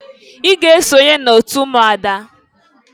I ga esonye n'otu ụmụada!